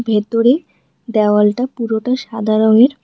ভেতরে দ্যাওয়ালটা পুরোটা সাদা রঙের।